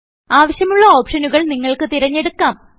ആവശ്യം ഉള്ള ഓപ്ഷനുകൾ നിങ്ങൾക്ക് തിരഞ്ഞെടുക്കാം